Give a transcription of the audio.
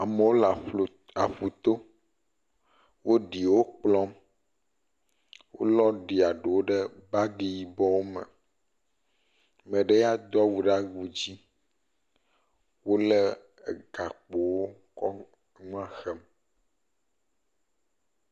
Amewo le aƒlu, aƒu to, wo ɖi wo kplɔm, wolɔ ɖia ɖewo ɖe bagi yibɔ me. Ame ɖe ya ɖo awu ɖe awu dzi. Wole gakpowo kɔm ŋua hwm.